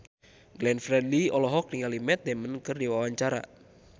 Glenn Fredly olohok ningali Matt Damon keur diwawancara